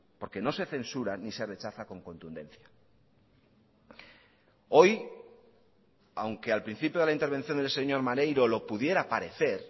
porque no se censura ni se rechaza con contundencia hoy aunque al principio de la intervención del señor maneiro lo pudiera parecer